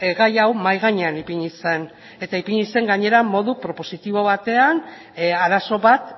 gai hau mahai gainean ipini zen eta ipini zen gainera modu propositibo batean arazo bat